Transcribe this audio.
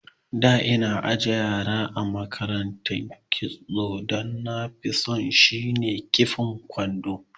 Da ina ajin yara a makaranta kitson danafi so shine kifa kwando